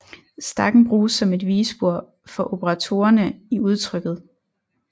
Stakken bruges som et vigespor for operatorerne i udtrykket